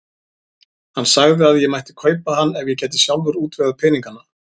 Hann sagði að ég mætti kaupa hann ef ég gæti sjálfur útvegað peningana.